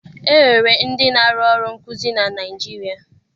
E nwere ndị na-arụ ọrụ nkuzi na Naịjirịa.